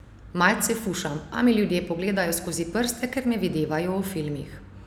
Malce fušam, a mi ljudje pogledajo skozi prste, ker me videvajo v filmih.